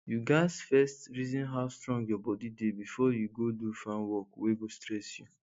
you gats first reason how strong your body dey before you go do farm work wey go stress you